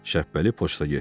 Şəbəli poçta getdi.